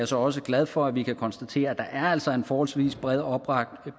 så også glad for at vi kan konstatere at der altså er en forholdsvis bred opbakning